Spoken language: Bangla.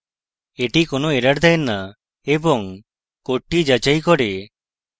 এটি কোনো error দেয় so এবং code যাচাই করে